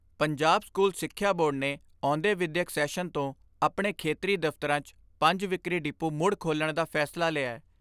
Punjab school ਸਿਖਿਆ board ਨੇ ਆਉਂਦੇ ਵਿਦਿਅਕ ਸੈਸ਼ਨ ਤੋਂ ਆਪਣੇ ਖੇਤਰੀ ਦਫ਼ਤਰਾਂ 'ਚ ਪੰਜ ਵਿਕਰੀ ਡਿਪੂ ਮੁੜ ਖੋਲ੍ਹਣ ਦਾ ਫੈਸਲਾ ਲਿਐ।